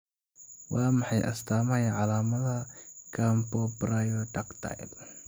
Waa maxay astaamaha iyo calaamadaha Camptobrachydactyly?